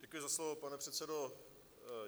Děkuji za slovo, pane předsedo.